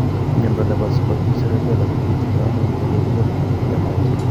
Mnyondo nebo Subacute cerebellar kobitu ngamun en rorunet ab thiamine